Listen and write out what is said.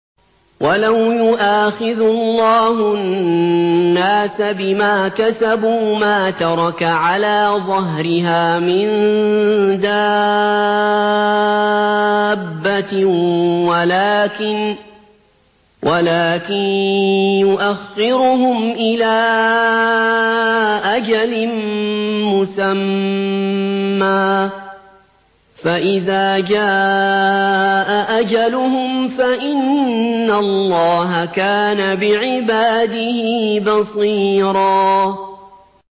وَلَوْ يُؤَاخِذُ اللَّهُ النَّاسَ بِمَا كَسَبُوا مَا تَرَكَ عَلَىٰ ظَهْرِهَا مِن دَابَّةٍ وَلَٰكِن يُؤَخِّرُهُمْ إِلَىٰ أَجَلٍ مُّسَمًّى ۖ فَإِذَا جَاءَ أَجَلُهُمْ فَإِنَّ اللَّهَ كَانَ بِعِبَادِهِ بَصِيرًا